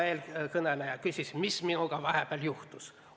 Eelkõneleja küsis, mis minuga vahepeal juhtus.